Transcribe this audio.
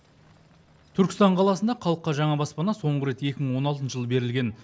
түркістан қаласында халыққа жаңа баспана соңғы рет екі мың он алтыншы жылы берілген